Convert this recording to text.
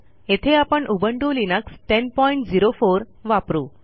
येथे आपण Ubuntu Linux 1004 वापरू